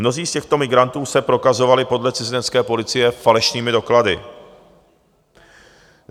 Mnozí z těchto migrantů se prokazovali podle cizinecké policie falešnými doklady.